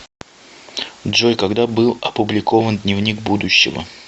джой когда был опубликован дневник будущего